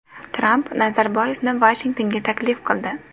Tramp Nazarboyevni Vashingtonga taklif qildi.